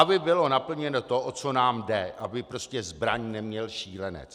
Aby bylo naplněno to, o co nám jde, aby prostě zbraň neměl šílenec.